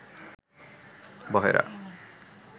বহেরা